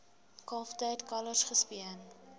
kalftyd kalwers gespeen